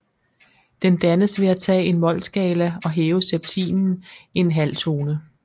Den dannes ved at tage en molskala og hæve septimen en halvtone